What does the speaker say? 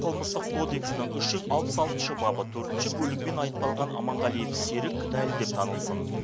қылмыстық кодексінің үш жүз алпыс алтыншы бабы төртінші бөлігімен айыпталған аманғалиев серік кінәлі деп танылсын